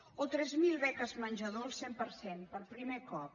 o tres mil beques menjador al cent per cent per primer cop